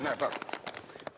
Näe, vaata!